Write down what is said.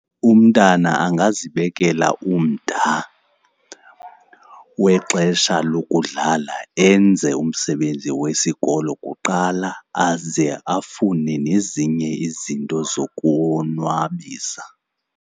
Umntana angazibekela umda wexesha lokudlala. Enze umsebenzi wesikolo kuqala aze afune nezinye izinto zokonwabisa.